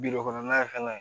kɔnɔna ye fɛnɛ